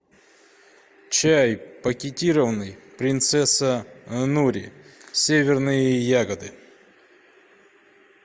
чай пакетированный принцесса нури северные ягоды